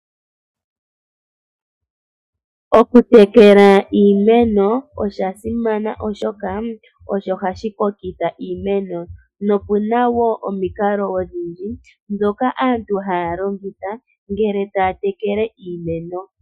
Okutekela iimeno osha simana oshoka osho hashi kokitha iimeno noku na woo omikalo odhindji ndhoka aantu haya longitha ngele taya tekele iimeno.